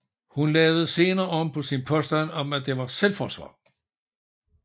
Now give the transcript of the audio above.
Hun lavede senere om på sin påstand om at det var selvforsvar